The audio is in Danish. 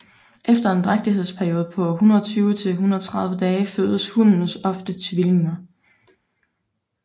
Efter en drægtighedsperiode på 120 til 130 dage føder hunnen oftest tvillinger